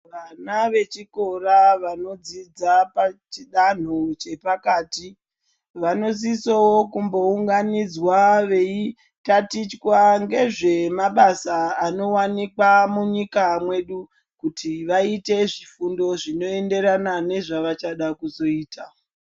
Vana vechikora vanodzidza pachidanho chepakati vanosisawo kumbounganidzwa veitatichwa ngezve mabasa anowanikwa munyika mwedu kuti vaite zvifundo zvinoenderana nezvavachada kuzoita.